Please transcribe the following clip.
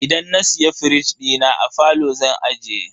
Idan na siya firij dina, a falo zan ajiye.